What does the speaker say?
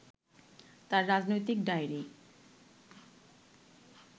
তাঁর রাজনৈতিক ডায়রি